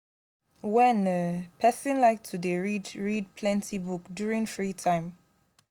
wen um person like to dey read read plenty book during free time